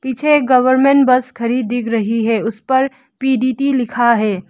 पीछे एक government bus खड़ी दिख रही है उस पर पी डी टी लिखा है।